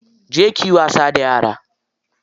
Je kiyi wasa da yara.